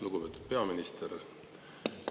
Lugupeetud peaminister!